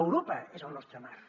europa és el nostre marc